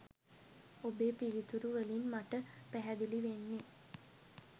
ඔබේ පිළිතුරු වලින් මට පැහැදිලි වෙන්නේ